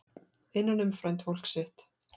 Innan um frændfólk sitt